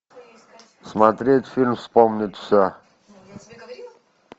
смотреть фильм вспомнить все